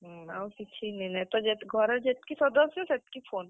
ହୁଁ, ଆଉ କିଛି ନିନେ ତ, ଘରେ ଯେତ୍ କି ସଦସ୍ୟ ସେତ୍ କି phone ।